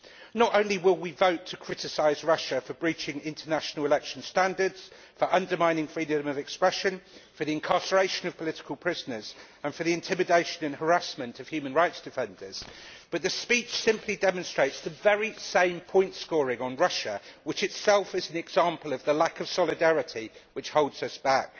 Not only will we vote to criticise Russia for breaching international election standards, for undermining freedom of expression, for the incarceration of political prisoners and for the intimidation and harassment of human rights defenders, but the speech simply demonstrates the very same point scoring on Russia, which is itself an example of the lack of solidarity which holds us back.